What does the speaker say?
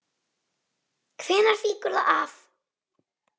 Hvenær fýkur það af?